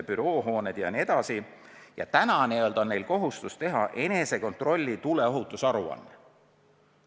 Praegu on neil kohustus teha enesekontrolli tuleohutusaruanne.